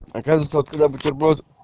оказывается откуда бутерброд